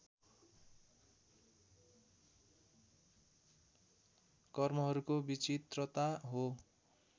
कर्महरूको विचित्रता हो